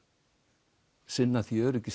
sinna því öryggi